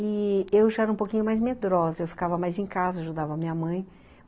E eu já era um pouquinho mais medrosa, eu ficava mais em casa, ajudava a minha mãe.